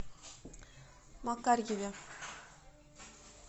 макарьеве